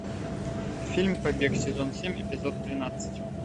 фильм побег сезон семь эпизод двенадцать